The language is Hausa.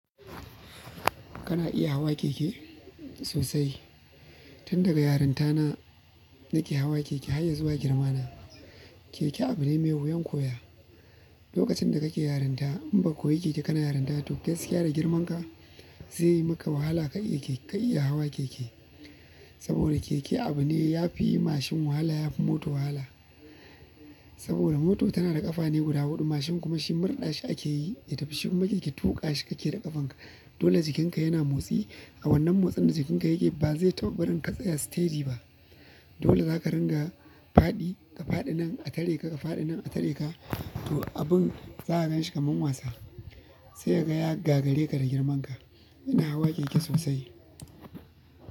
Kana iya hawa keke sosai. Tun daga yarinta na nake hawa keke har ya zuwa girma na. Keke abu ne mai wuyan koya. Lokacin da kake yarinta in baka koyi keke kana yarinta to gaskiya da girman ka zai yi maka wahala ka iya hawa keke. Saboda keke abu ne ya fi yi mashin wahala, ya fi moto wahala. Saboda mota tana da ƙafa ne guda huɗu mashin kuma shi murɗa shi ake yi, ya tafi shi kuma keke tuƙa shi kake da ƙafanka. Dole jikinka yana motsi. A wannan motsin da jikinka yake ba zai taɓa barin ka tsaya steady ba. Dole zaka ringa faɗi ka faɗi nan a tare ka faɗi nan a tare ka. To abun zaka ganshi kamar wasa sai ka ga ya gagare ka da girman ka. Ina hawa keke sosai.